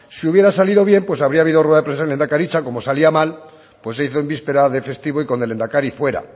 si hubiera salido bien pues habría habido rueda de prensa en lehendakaritza como salía mal pues se hizo en víspera de festivo y con el lehendakari fuera